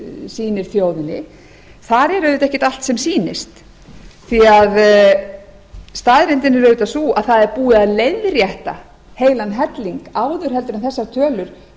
sýnir þjóðinni þar er auðvitað ekkert allt sem sýnist því að staðreyndin er auðvitað sú að það er búið að leiðrétta heilan helling áður en þessar tölur